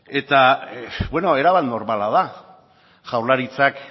eta bueno erabat normala da jaurlaritzak